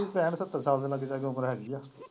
ਪੈਂਹਠ-ਸੱਤਰ ਸਾਲ ਦੇ ਲਾਗੇ ਸਾਗੇ ਉਮਰ ਹੈਗੀ ਏ।